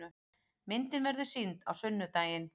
Myndin verður sýnd á sunnudaginn.